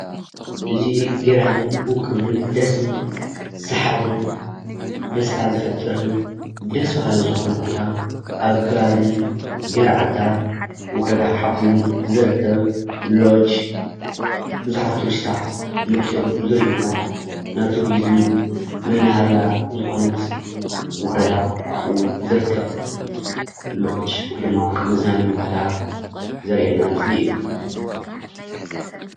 እዚ ገራምን ዉቅብን ደስ ዝብል ሰሓብን ደስታ ዝፈጥርን ደስ ባሃሊ ዝኮነ ቦታ ኣብ ከባቢ ገርዓልታ ወረዳ ሓውዜን ዝርከብ ሎጅ ብዙሓት ቱሪስትታት መፅዮም ዝርእይዎ ናይ ቱሪዝም መናሃርያ ዝኮነት ወረዳ አብኡ ዝርከብ ሎጅ ወይ ድማ መዝናነዪ ቦታ ዘርእየና ምስሊ እዩ።